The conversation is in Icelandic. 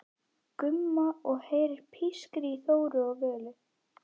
Gumma og heyrir pískrið í Þóru og Völu.